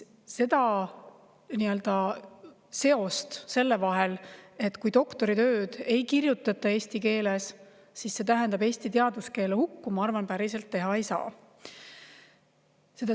Seda seost, et kui doktoritööd ei kirjutata eesti keeles, siis see tähendab eesti teaduskeele hukku, ma arvan, päriselt teha ei saa.